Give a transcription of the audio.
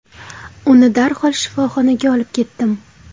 Uni darhol shifoxonaga olib ketdim.